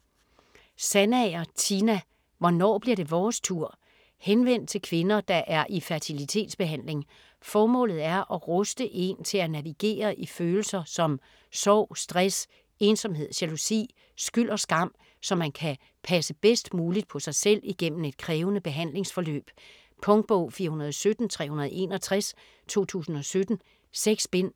Sandager, Tina: Hvornår bliver det vores tur? Henvendt til kvinder, der er i fertilitetsbehandling. Formålet er at ruste en til at navigere i følelser som sorg, stress, ensomhed, jalousi, skyld og skam, så man kan passe bedst muligt på sig selv igennem et krævende behandlingsforløb. Punktbog 417361 2017. 6 bind.